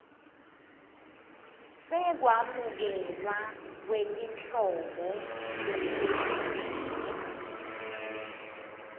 sekwamukelwa kwetinhlobo letahlukene